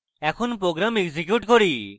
এখন program execute করি